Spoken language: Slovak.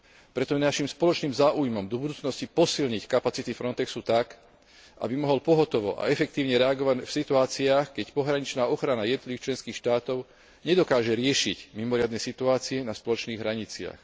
Preto je našim spoločným záujmom do budúcnosti posilniť kapacity Frontexu tak, aby mohol pohotovo a efektívne reagovať v situáciách, keď pohraničná ochrana jednotlivých členských štátov nedokáže riešiť mimoriadne situácie na spoločných hraniciach.